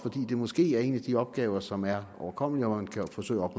det måske er en af de opgaver som er overkommelig og hvor man kan forsøge at